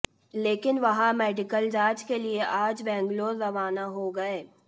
लेकिन वह मेडिकल जांच के लिए आज बंगलौर रवाना हो गए